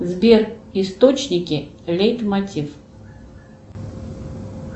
сбер источники лейтмотив